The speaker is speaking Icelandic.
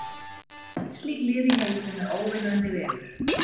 Að telja öll slík lið í heiminum er óvinnandi vegur.